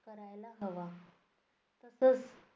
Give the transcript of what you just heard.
करायला हवा. तसंच